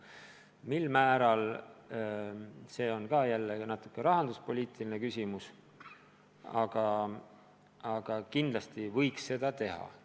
Mil määral, see on ka natuke rahanduspoliitiline küsimus, aga kindlasti võiks seda teha.